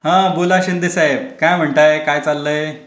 हा बोला शिंदे साहेब काय म्हणताय काय चाललंय?